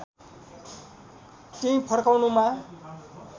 त्यहीं फर्काउनुमा